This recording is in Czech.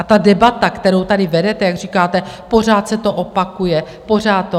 A ta debata, kterou tady vedete, jak říkáte, pořád se to opakuje, pořád to...